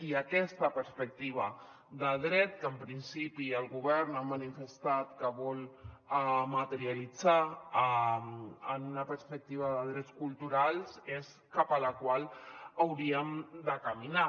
i aquesta perspectiva de dret que en principi el govern ha manifestat que vol materialitzar en una perspectiva de drets culturals és cap a la qual hauríem de caminar